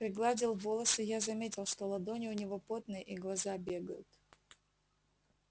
пригладил волосы я заметил что ладони у него потные и глаза бегают